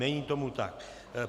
Není tomu tak.